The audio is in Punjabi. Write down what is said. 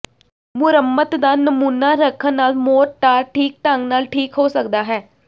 ਮੁਰੰਮਤ ਦਾ ਨਮੂਨਾ ਰੱਖਣ ਨਾਲ ਮੋਰਟਾਰ ਠੀਕ ਢੰਗ ਨਾਲ ਠੀਕ ਹੋ ਸਕਦਾ ਹੈ